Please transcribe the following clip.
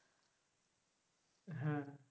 হ্যাঁ